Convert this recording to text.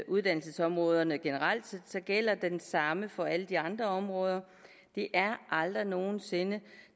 uddannelsesområderne generelt gælder det samme som for alle de andre områder det er aldrig nogen sinde